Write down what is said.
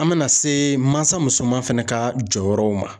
An bɛna se mansa musoman fɛnɛ ka jɔyɔrɔw ma.